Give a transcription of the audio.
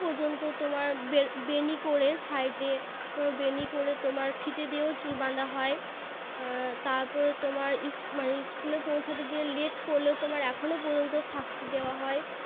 পযন্ত তোমার বে~ বেণী করে Side এ বেণী করে তোমার ফিতে দিয়েও তোমার চুল বাঁধা হয় তারপরে তোমার ইস~ School এ পোঁছাতে গিয়ে Late করলে তোমাকে এখনো পর্যন্ত শাস্তি দেওয়া হয়